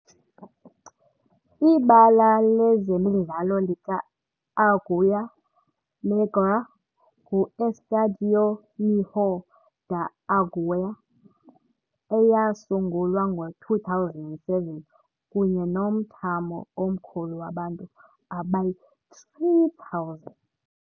Ibala lezemidlalo lika-Águia Negra, ngu-Estádio Ninho da Águia, eyasungulwa ngo-2007, kunye nomthamo omkhulu wabantu abayi-3,000.